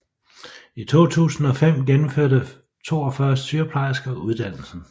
I 2005 gennemførte 42 sygeplejersker uddannelsen